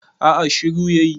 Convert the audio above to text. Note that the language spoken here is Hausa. a a shiru ya yi